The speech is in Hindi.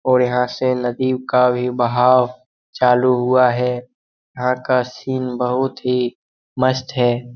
और यहाँ से नदी का बहाव चालू हुआ है | यहाँ का सीन बहुत ही मस्त है ।